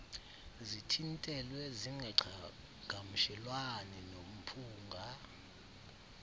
zithintelwe zingaqhagamshelani nomphunga